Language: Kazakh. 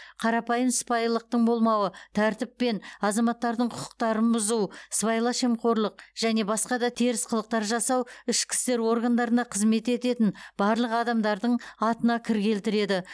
қарапайым сыпайылықтың болмауы тәртіп пен азаматтардың құқықтарын бұзу сыбайлас жемқорлық және басқа да теріс қылықтар жасау ішкі істер органдарына қызмет ететін барлық адамдардың атына кір келтіреді